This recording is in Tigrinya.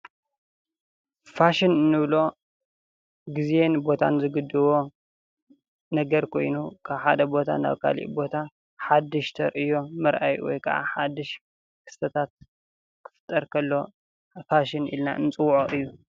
ፋሽን ንብሎ ግዜን ቦታን ዝግድቦ ነገር ኮይኑ ካብ ሓደ ቦታ ናብ ካሊእ ቦታ ሓድሽ ተርእዮ ምርአይ ወይ ከዓ ሓድሽ ክስተታት ክፍጠር ከሎ ፋሽን ኢልን ንፅወዖ እዪ ።